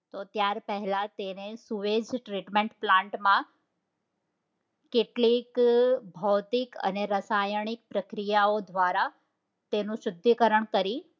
તો ત્યાર પહેલા તેને સુએજ treatment plant માં કેટલીક ભૌતિક અને રાસાયણિક પ્રક્રિયાઓ દ્વારા તેનું શુદ્ધિકરણ કરી